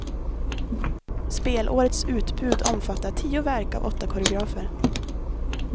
Spelårets utbud omfattar tio verk av åtta koreografer.